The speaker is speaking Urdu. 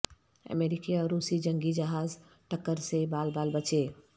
امریکی اور روسی جنگی جہاز ٹکر سے بال بال بچے